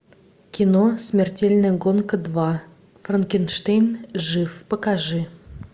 кино смертельная гонка два франкенштейн жив покажи